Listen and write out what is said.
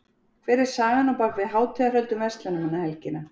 Hver er sagan á bak við hátíðahöld um verslunarmannahelgina?